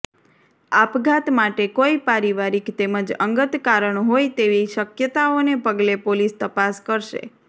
આપઘાત માટે કોઈ પારિવારિક તેમજ અંગત કારણ હોય તેવી શકયતાઓને પગલે પોલીસ તપાસ કરશે